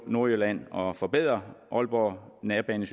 nordjylland og forbedrer aalborg nærbane